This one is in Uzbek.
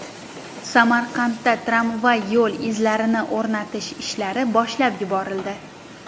Samarqandda tramvay yo‘l izlarini o‘rnatish ishlari boshlab yuborildi.